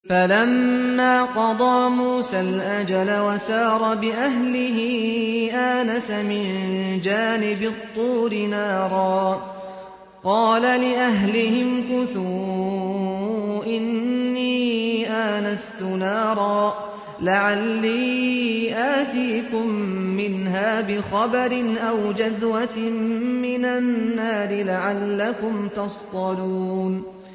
۞ فَلَمَّا قَضَىٰ مُوسَى الْأَجَلَ وَسَارَ بِأَهْلِهِ آنَسَ مِن جَانِبِ الطُّورِ نَارًا قَالَ لِأَهْلِهِ امْكُثُوا إِنِّي آنَسْتُ نَارًا لَّعَلِّي آتِيكُم مِّنْهَا بِخَبَرٍ أَوْ جَذْوَةٍ مِّنَ النَّارِ لَعَلَّكُمْ تَصْطَلُونَ